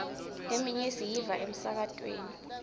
leminye siyiva emsakatweni